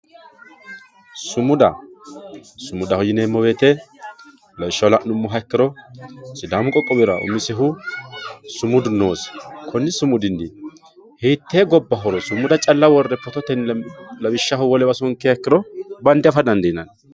Sumuda sumudaho yineemo woyte lawishshaho la'numoha ikkiro sidaamu qoqqowira umisihu sumudu noosi konni sumudinni hitee gobbahoro sumuda calla wore wolewa sonikkiha ikkiro banidde afa dandiinanni